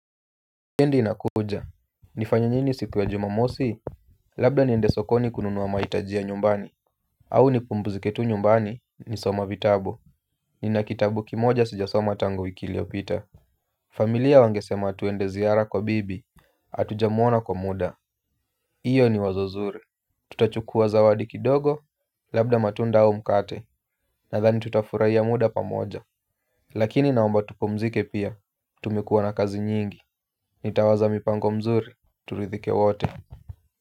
Wikendi inakuja, ni fanye nini siku ya jumamosi, labda niende sokoni kununua maitaji ya nyumbani. Au ni pumbuzike tu nyumbani ni soma vitabu, ni na kitabu kimoja sijasoma tangu wiki iliyopita. Familia wangesema tuende ziara kwa bibi, atujamuona kwa muda, iyo ni wazo nzuri. Tutachukua zawadi kidogo, labda matunda au mkate, na dhani tutafurahia muda pamoja. Lakini naomba tupumzike pia, tumekuwa na kazi nyingi nitawaza mipango mzuri tulidhike wote.